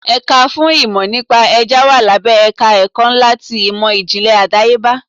Ẹ̀ka fún ìmò nípa Ẹja wà lábẹ́ ẹ̀ka ẹ̀kọ́ ńlá ti ìmò ìjìnlẹ̀ àdáyébá.